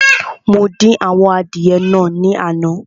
Mo dín àwọn adìẹ naa ní àná